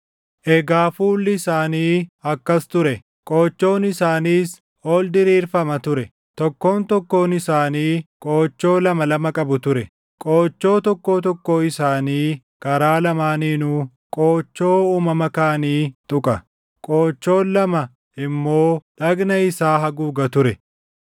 Egaa fuulli isaanii akkas ture. Qoochoon isaaniis ol diriirfama ture. Tokkoon tokkoon isaanii qoochoo lama lama qabu ture. Qoochoo tokkoo tokkoo isaanii karaa lamaaniinuu qoochoo uumama kaanii tuqa; qoochoon lama immoo dhagna isaa haguuga ture.